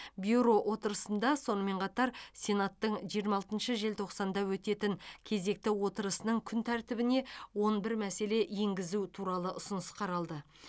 бюро отырысында сонымен қатар сенаттың жиырма алтыншы желтоқсанда өтетін кезекті отырысының күн тәртібіне он бір мәселе енгізу туралы ұсыныс қаралды